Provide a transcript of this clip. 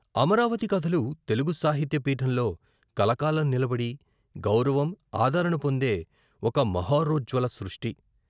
అమరావతి కథలు తెలుగు సాహిత్య పీఠంలో కలకాలం నిలబడి గౌరవం, ఆదరణ పొందే ఒక మహో రోజ్జ్వల సృష్టి.